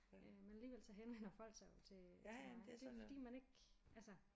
Øh men alligevel så henvender folk sig jo til til mig det fordi man ikke altså